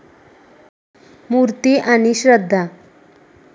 मूर्ती आणि श्रद्धा